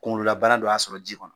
Kunkololabana dɔ y'a sɔrɔ ji kɔnɔ.